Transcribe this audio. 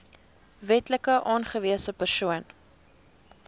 wetlik aangewese persoon